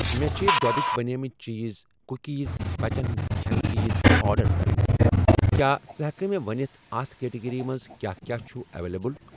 مےٚ چھ دۄدٕکؠ بَنیمٕتؠ چیٖز, کُکیٖز, بَچن ہِنٛدؠ کھٮ۪نہ چیٖز آرڈر کرٕنۍ، کیٛاہ ژٕ ہٮ۪کہٕ مےٚ ونِتھ اَتھ کیٹگری منٛز کیٛاہ کیٛاہ چھ اویلیبل۔